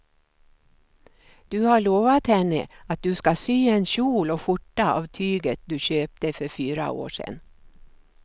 Du har lovat henne att du ska sy en kjol och skjorta av tyget du köpte för fyra år sedan.